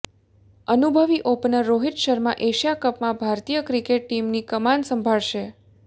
અનુભવી opener Rohit Sharma Asia કપમાં ભારતીય ક્રિકેટ ટીમની કમાન સંભાળશે